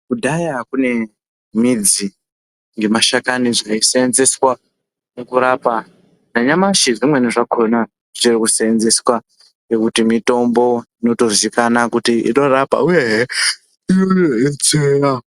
Kudhaya kune midzi nemashakani zvaisenzeswa kurapa. Nanyamashi zvimweni zvakhona zvichiri kuseenzeswa ngekuti mitombo inotoziikanwa kuti inorapa uyezve inodetsera.